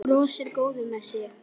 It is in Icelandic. Brosir, góður með sig.